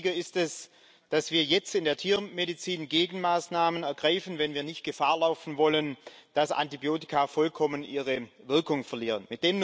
Umso wichtiger ist es, dass wir jetzt in der Tiermedizin Gegenmaßnahmen ergreifen, wenn wir nicht Gefahr laufen wollen, dass Antibiotika vollkommen ihre Wirkung verlieren.